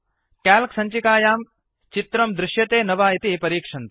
calc सञ्चिकायां चित्रं दृश्यते न वा इति परिक्षन्तु